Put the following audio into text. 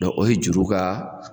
o ye juru ka